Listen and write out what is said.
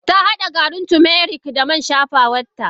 Tahada garin turmeric da man shafawan ta.